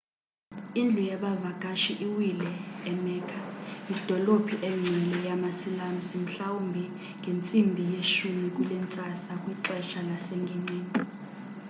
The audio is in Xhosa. indlu yabavakashi iwile e-mecca idolophu engcwele yama-silamusi mhlawumbi ngentsimbi yesi-10 kulentsasa kwixesha lasengingqini